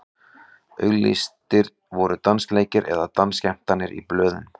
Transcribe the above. auglýstir voru dansleikir eða dansskemmtanir í blöðum